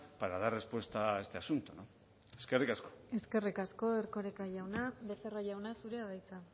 para dar respuesta a este asunto eskerrik asko eskerrik asko erkoreka jauna becerra jauna zurea da hitza